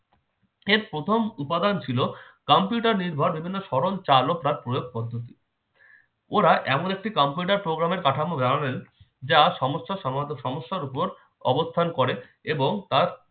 এর প্রথম উপাদান ছিল কম্পিউটার নির্ভর বিভিন্ন সরল চালক বা প্রয়োগ পদ্ধতি ওরা এমন একটি কম্পিউটার programme এর কাঠামো দেখালেন যা সমস্ত সমস্যার উপর অবস্থান করে অবস্থান করে এবং তার